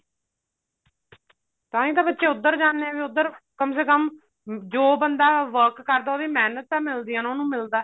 ਤਾਹੀਂ ਤਾਂ ਬੱਚੇ ਉੱਧਰ ਜਾਂਦੇ ਨੇ ਉੱਧਰ ਕਮ ਸੇ ਕਮ ਜੋ ਬੰਦਾ work ਕਰਦਾ ਉਹਦੀ ਮਿਹਨਤਾ ਮਿਲਦੀ ਉਹਨੂੰ ਮਿਲਦਾ